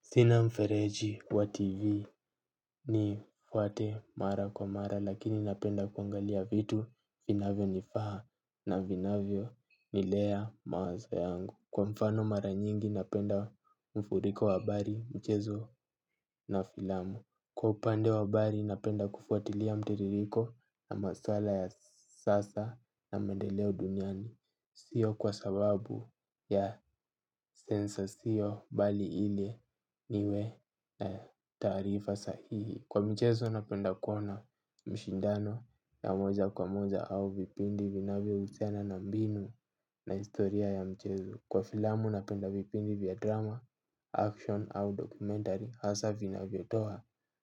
Sina mfereji wa TV nifuate mara kwa mara lakini napenda kuangalia vitu finavyo nifaa na vinavyo nilea mawazo yangu. Kwa mfano mara nyingi napenda mfuriko wa habari mchezo na filamu. Kwa upande wa habari napenda kufuatilia mtiririko na maswala ya sasa na mendeleo duniani. Sio kwa sababu ya sensa sio bali ili niwe taarifa sahihi. Kwa mchezo napenda kuona mshindano ya moja kwa moja au vipindi vinavyo usiana na mbinu na historia ya mchezo. Kwa filamu napenda vipindi vya drama, action au documentary hasa vinavyo toa